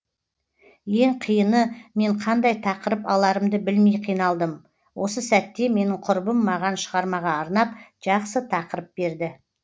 ең қиыны мен қандай тақырып аларымды білмей қиналдым осы сәтте менің құрбым маған шығармаға арнап жақсы тақырып берді